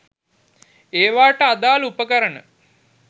ඒවට අදාළ උපකරණ